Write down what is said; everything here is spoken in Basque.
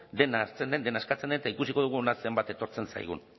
dena hartzen den dena eskatzen den eta ikusiko dugu hona zenbat etortzen zaigun